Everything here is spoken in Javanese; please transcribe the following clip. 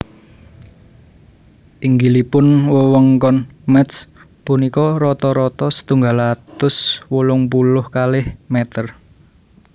Inggilipun wewengkon Métz punika rata rata setunggal atus wolung puluh kalih mèter